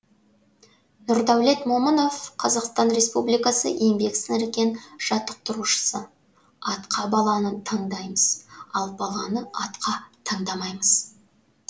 нұрдәулет момынов қазақстан респібликасы еңбек сіңірген жаттықтырушысы атқа баланы таңдаймыз ал баланы атқа таңдамаймыз